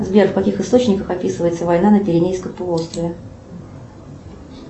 сбер в каких источниках описывается война на пиренейском полуострове